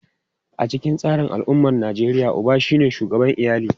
A cikin al’ummar Nijeriya, uba ne shugaban iyali.